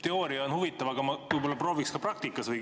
Teooria on huvitav, aga ma prooviks seda ka praktikas järele.